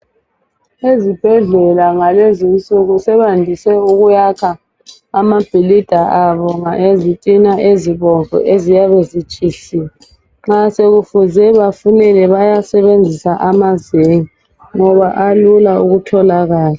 Ulwazi mayelana ngemithi yesintu solumemetheka sekulengwalo ezifundisa mayelana ngemithi yesintu lokhu kuyanceda kakhulu.